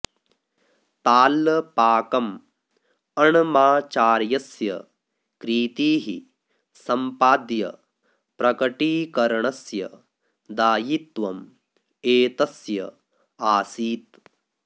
ताल्लपाकम् अण्णमाचार्यस्य कृतीः सम्पाद्य प्रकटीकरणस्य दायित्वम् एतस्य आसीत्